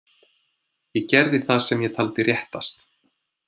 Ég gerði það sem ég taldi réttast.